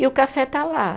E o café está lá.